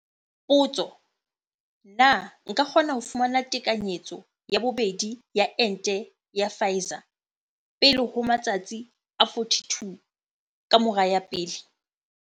Potso. Na nka kgona ho fumana tekanyetso ya bobedi ya ente ya Pfizer pele ho matsatsi a 42 ka mora ya pele?